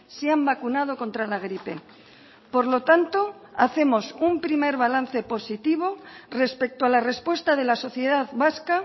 se han vacunado contra la gripe por lo tanto hacemos un primer balance positivo respecto a la respuesta de la sociedad vasca